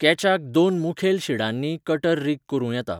कॅचाक दोन मुखेल शिडांनीय कटर रीग करूं येता.